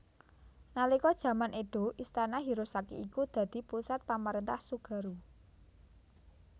Nalika jaman Edo Istana Hirosaki iku dadi pusat pamrentahan Tsugaru